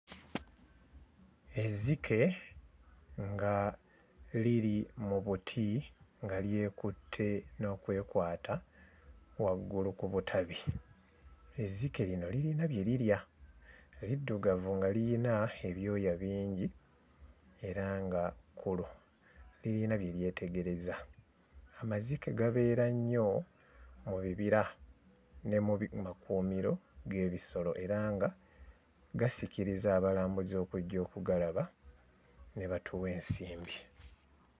Ezzike nga liri mu buti nga lyekutte n'okwekwata waggulu ku butabi . Ezzike lino lirina bye lirya eriddugavu nga lirina ebyoya bingi era nga kkulu lirina bye lyetegereza. Amazike gabeera nnyo mu bibira ne mu bi makuumiro g'ebisolo era nga gasikiriza abalambuzi okujja okugalaba ne batuwa ensimbi.